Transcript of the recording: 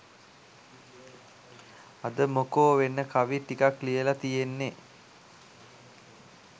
අද මොකෝ වෙන කවි ටිකක් ලියලා තියෙන්නේ